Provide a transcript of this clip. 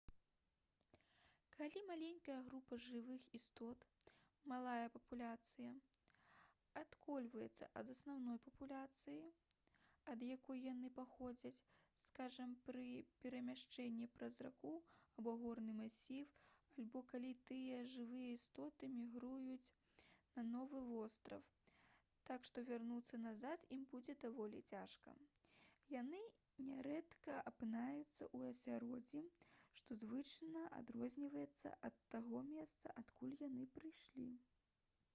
калі маленькая група жывых істот малая папуляцыя адколваецца ад асноўнай папуляцыі ад якой яны паходзяць скажам пры перамяшчэнні праз раку або горны масіў альбо калі такія жывыя істоты мігрыруюць на новы востраў так што вярнуцца назад ім будзе даволі цяжка яны нярэдка апынаюцца ў асяроддзі што значна адрозніваецца ад таго месца адкуль яны прыйшлі